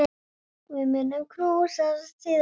Við munum knúsast síðar.